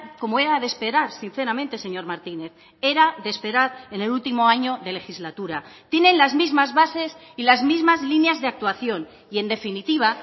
como era de esperar sinceramente señor martínez era de esperar en el último año de legislatura tienen las mismas bases y las mismas líneas de actuación y en definitiva